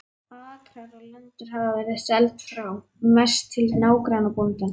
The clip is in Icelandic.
Akrar og lendur hafa verið seld frá, mest til nágrannabóndans.